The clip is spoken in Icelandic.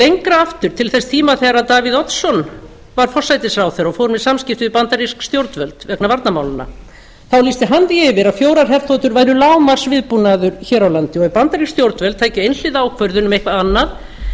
lengra aftur til þess tíma þegar davíð oddsson var forsætisráðherra og fór með samskipti við bandarísk stjórnvöld vegna varnarmálanna þá lýsti hana því yfir að fjórar herþotur væri lágmarksviðbúnaður hér á landi og ef bandarísk stjórnvöld tækju einhliða ákvörðun um eitthvað annað